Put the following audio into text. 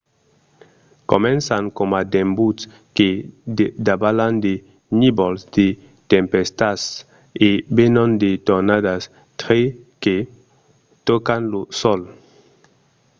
començan coma d'embuts que davalan de nívols de tempèstas e venon de tornadas tre que tòcan lo sòl